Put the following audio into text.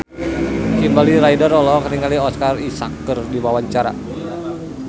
Kimberly Ryder olohok ningali Oscar Isaac keur diwawancara